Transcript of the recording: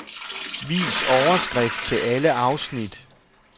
Vis overskrift til alle afsnit.